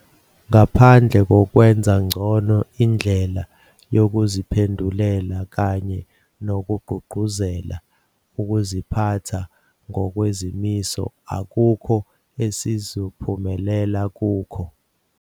Ngaphandle kokwenza ngcono indlela yokuziphendulela kanye nokugqugquzela ukuziphatha ngokwezimiso, akukho esizophumelela kukho.